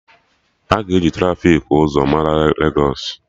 Aga e ji trafiki ụzọ ka mara Legos